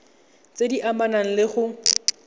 tse di amanang le go